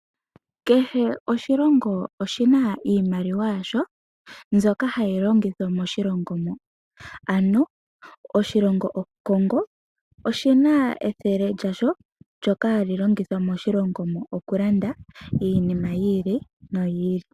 Kehe oshilongo oshi na iimaliwa yasho, mbyoka hayi longithwa moshilongo mo. Ano, oshilongo oCongo, oshi na ethele lyasho ndyoka ha li longithwa moshilongo okulanda iinima yi ili noyi ili.